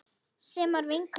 Sem var vinkona mín.